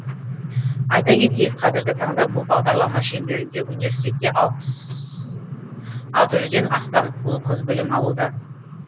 айта кетейік қазіргі таңда бұл бағдарлама шеңберінде университетте алты жүзден астам ұл қыз білім алуда